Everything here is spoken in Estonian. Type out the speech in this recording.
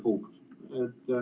Punkt.